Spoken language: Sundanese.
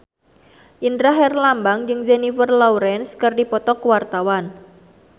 Indra Herlambang jeung Jennifer Lawrence keur dipoto ku wartawan